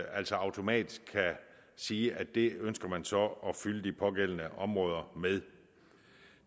altså automatisk kan sige at det ønsker man så at fylde de pågældende områder med